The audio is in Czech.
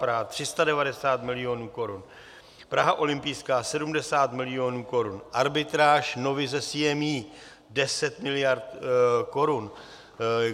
Praha - 390 milionů korun, Praha olympijská - 70 milionů korun, arbitráž Novy se CME - 10 miliard korun.